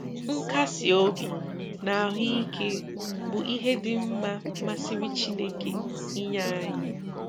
Nkasi obi na ahụ ike bụ ihe dị mma masịrị Chineke inye anyị.